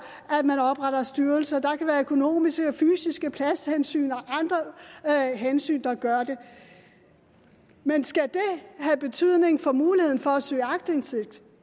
at man opretter styrelser der kan være økonomiske og fysiske hensyn pladshensyn og andre hensyn der gør det men skal det have betydning for muligheden for at søge aktindsigt